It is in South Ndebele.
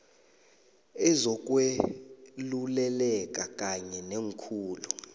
ozokweluleleka kanye neekhulu